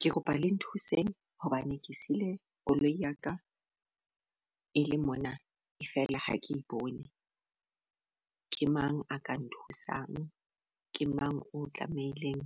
Ke kopa le nthuseng hobane ke sile koloi ya ka e le mona fela ha ke e bone. Ke mang a ka nthusang ke mang o tlameileng